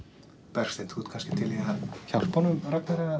Bergsteinn þú ert kannski til í að hjálpa honum Ragnari að